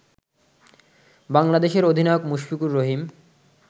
বাংলাদেশের অধিনায়ক মুশফিকুর রহিম